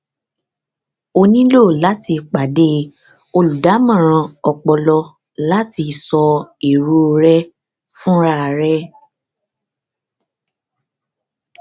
o nílò láti pàdé olùdámọràn ọpọlọ láti sọ èrò rẹ fúnra rẹ